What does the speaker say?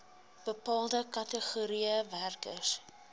bepaalde kategorieë werkers